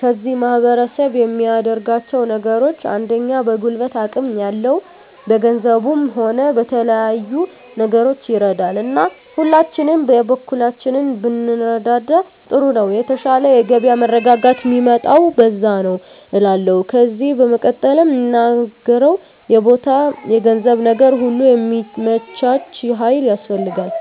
ከዚህ ማህረሰብ የሚያደርጋቸው ነገሮች አንደኛ በጉልበት አቅም ያለው በገንዘቡም ሆነ በተለያዩ ነገሮች ይረዳል እና ሁላችንም የበኩላችንን ብንረዳዳ ጥሩ ነው የተሻለ የገበያ መረጋጋት ሚመጣው በዛ ነዉ እላለሁ ከዜ በመቀጠል ምናገረው የቦታ የገንዘብ ነገር ሁሉ ሚመቻች ሀይል ያስፈልጋል